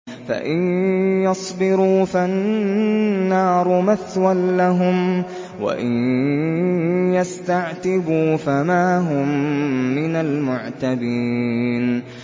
فَإِن يَصْبِرُوا فَالنَّارُ مَثْوًى لَّهُمْ ۖ وَإِن يَسْتَعْتِبُوا فَمَا هُم مِّنَ الْمُعْتَبِينَ